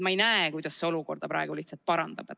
Ma ei näe, kuidas see olukorda praegu lihtsalt parandab.